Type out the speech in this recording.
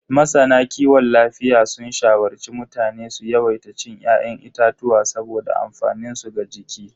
Masana kiwon lafiya sun shawarci mutane su yawaita cin ya'yan itatuwa saboda amfaninsu ga jiki.